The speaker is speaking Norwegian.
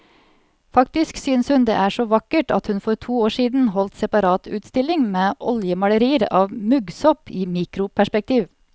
Faktisk synes hun det er så vakkert at hun for to år siden holdt separatutstilling med oljemalerier av muggsopp i mikroperspektiv.